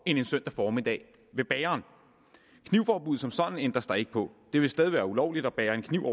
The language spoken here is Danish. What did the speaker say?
en søndag formiddag ved bageren knivforbuddet som sådan ændres der ikke på det vil stadig være ulovligt at bære en kniv